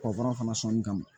Kɔgɔ fana sɔnni kama